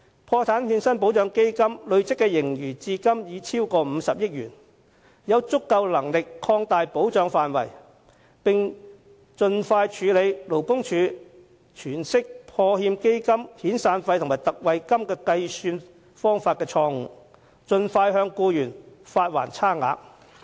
破產欠薪保障基金的累積盈餘至今已超過50億元，應有足夠能力擴大保障範圍，並盡快處理勞工處在計算破欠基金遣散費特惠金時的詮釋錯誤，盡快向受影響僱員發還差額。